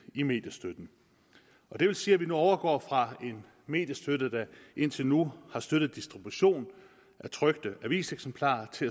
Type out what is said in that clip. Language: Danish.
i mediestøtten og det vil sige at vi nu overgår fra en mediestøtte der indtil nu har støttet distribution af trykte aviseksemplarer til